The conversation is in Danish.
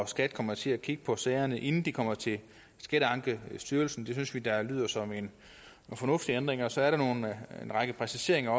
skat kommer til at kigge på sagerne inden de kommer til skatteankestyrelsen det synes vi da lyder som en fornuftig ændring og så er der en række præciseringer